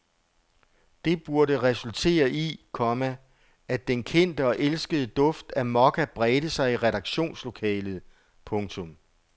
Det burde resultere i, komma at den kendte og elskede duft af mokka bredte sig i redaktionslokalet. punktum